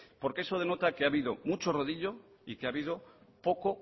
porque eso denota que ha habido mucho rodillo y que ha habido poco